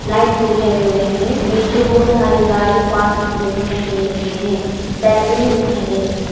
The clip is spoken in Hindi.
लाइट्स भी दिखाई दे रहे हैं नीचे बहुत सारे गाड़ी पार्क हुए दिखाई दे रहे हैं बेलकनी दिखाई दे रहीं हैं।